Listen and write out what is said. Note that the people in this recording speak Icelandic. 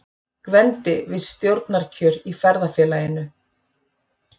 Gvendi við stjórnarkjör í Ferðafélaginu.